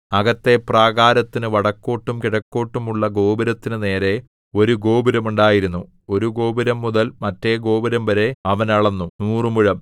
അകത്തെ പ്രാകാരത്തിനു വടക്കോട്ടും കിഴക്കോട്ടും ഉള്ള ഗോപുരത്തിനു നേരെ ഒരു ഗോപുരം ഉണ്ടായിരുന്നു ഒരു ഗോപുരംമുതൽ മറ്റെ ഗോപുരംവരെ അവൻ അളന്നു നൂറുമുഴം